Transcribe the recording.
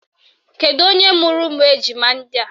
Kedu onye mụrụ ụmụ ejima ndị a?